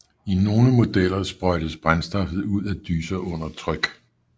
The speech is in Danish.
I nogle modeller sprøjtes brændstoffet ud af dyser under tryk